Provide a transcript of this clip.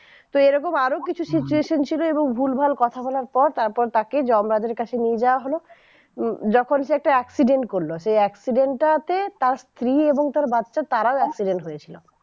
তোএই রকম আরো কিছু situation ছিল এবং ভুলভাল কথা বলার পর তারপর তাকে যমরাজের কাছে নিয়ে যাওয়া হলো যখন সে accident করলো সেই accident টা তে তার স্ত্রী এবং তার বাচ্চা তারাও accident হয়েছিল